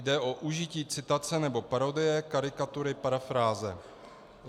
Jde o užití citace nebo parodie, karikatury, parafráze.